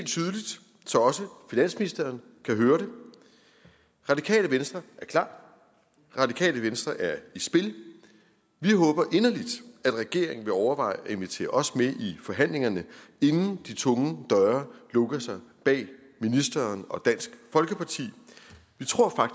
så også finansministeren kan høre det radikale venstre er klar radikale venstre er i spil vi håber inderligt at regeringen vil overveje at invitere os med i forhandlingerne inden de tunge døre lukker sig bag ministeren og dansk folkeparti vi tror